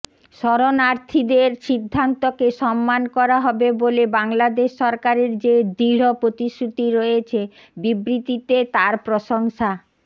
শরণার্থীদের সিদ্ধান্তকে সম্মান করা হবে বলে বাংলাদেশ সরকারের যে দৃঢ় প্রতিশ্রুতি রয়েছে বিবৃতিতে তার প্রশংসা